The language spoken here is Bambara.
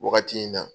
Wagati in na